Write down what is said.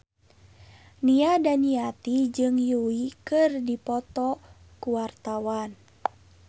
Nia Daniati jeung Yui keur dipoto ku wartawan